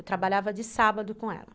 Eu trabalhava de sábado com ela.